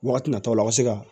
Wagati nataw la u bɛ se ka